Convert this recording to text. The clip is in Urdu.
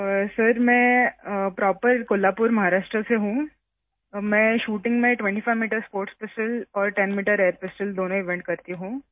سر میں کولہاپور، مہاراشٹر سے ہوں، میں شوٹنگ میں 25 میٹر اسپورٹس پسٹل اور 10 میٹر ایئر پسٹل دونوں ایونٹس کرتی ہوں